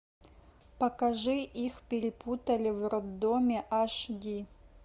покажи их перепутали в роддоме аш ди